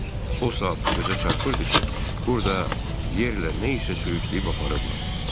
O saat gözə çarpırdı ki, burda yerlə nə isə sürüyüb aparıblar.